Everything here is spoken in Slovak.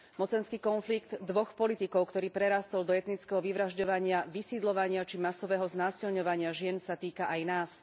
Mocenský konflikt dvoch politikov, ktorý prerástol do etnického vyvražďovania, vysídľovania či masového znásilňovania žien, sa týka aj nás.